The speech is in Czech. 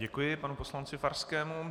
Děkuji panu poslanci Farskému.